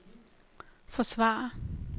forsvarer